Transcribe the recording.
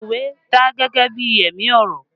Òwe dà gẹ́gẹ́ bí ẹ̀mí ọ̀rọ̀